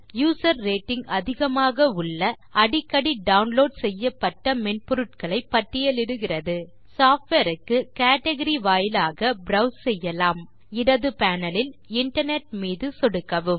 user rating அதிகமாக உள்ள அடிக்கடி டவுன்லோட் செய்யப்பட்ட மென்பொருட்களை பட்டியலிடுகிறது சாஃப்ட்வேர் க்கு கேட்கரி வாயிலாக ப்ரோவ்ஸ் செய்யலாம் இடது பேனல் லில் இன்டர்நெட் மீது சொடுக்கவும்